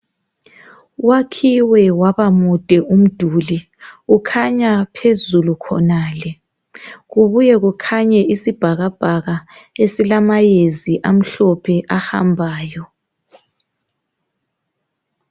Wakhiwe waba mude umduli ukhanya phezulu khonale kubuye kukhanye isibhakabhaka esilamayezi ahambayo.